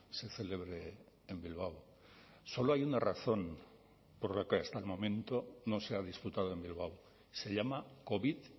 se celebre en bilbao solo hay una razón por la que hasta el momento no se ha disputado en bilbao se llama covid